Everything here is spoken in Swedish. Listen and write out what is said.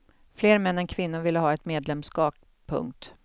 Fler män än kvinnor vill ha ett medlemskap. punkt